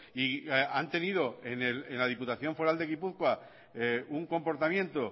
y han tenido en la diputación foral de gipuzkoa un comportamiento